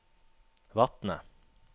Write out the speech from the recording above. Vatne